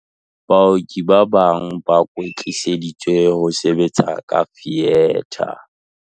Baoki ba bang ba kwetliseditswe ho sebetsa ka fietha.